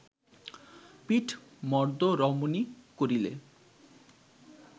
পীঠমর্দ্দ রমণী করিলে